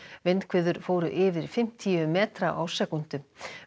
vindhviður fóru yfir fimmtíu metra á sekúndu